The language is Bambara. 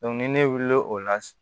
ni ne wulila o la